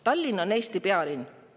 Tallinn on Eesti pealinn.